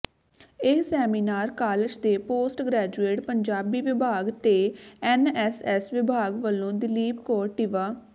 ਇਹ seminar college ਦੇ post graduate Punjabi ਵਿਭਾਗ ਤੇ ਐੱਨਐੱਸਐੱਸ ਵਿਭਾਗ ਵੱਲੋਂ ਦਲੀਪ ਕੌਰ ਟਿਵਾ